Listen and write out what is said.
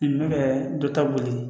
N bɛ ka dɔ ta boli